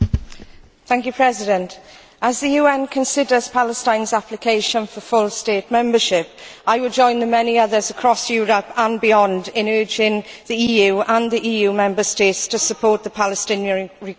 Mr President, as the UN considers Palestine's application for full state membership, I would join the many others across Europe and beyond in urging the EU and the EU Member States to support the Palestinian request.